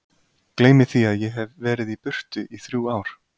Gleymi því að ég hef verið í burtu í þrjú ár.